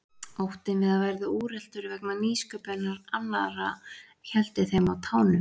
Óttinn við að verða úreltur vegna nýsköpunar annarra héldi þeim á tánum.